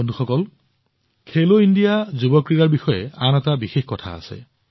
বন্ধুসকল খেলো ইণ্ডিয়া যুৱ ক্ৰীড়াৰ বিষয়ে আন এটা উল্লেখযোগ্য কথা আছে